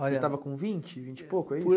Você estava com vinte, vinte e pouco, é isso?